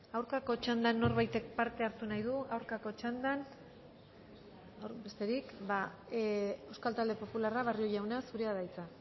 aurkako txandan norbaitek parte hartu nahi du aurkako txandan besterik euskal talde popularra barrio jauna zurea da hitza